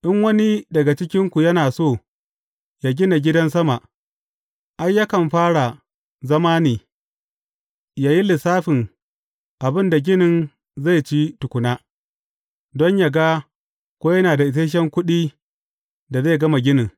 In wani daga cikinku yana so ya gina gidan sama, ai, yakan fara zama ne, ya yi lissafin abin da ginin zai ci tukuna, don yă ga ko yana da isashen kuɗi da zai gama ginin.